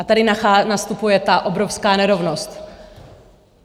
A tady nastupuje ta obrovská nerovnost.